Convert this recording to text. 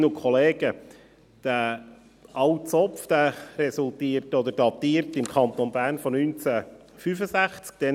Dieser alte Zopf datiert im Kanton Bern aus dem Jahr 1965.